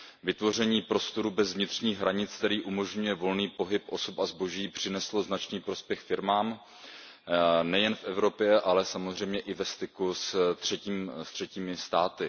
Vytvoření prostoru bez vnitřních hranic, který umožňuje volný pohyb osob a zboží, přineslo značný prospěch firmám nejen v Evropě, ale samozřejmě i ve styku se třetími státy.